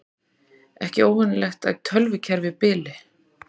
Ekki óvenjulegt að tölvukerfi bili